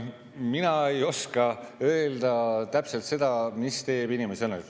Mina ei oska täpselt öelda, mis teeb inimese õnnelikuks.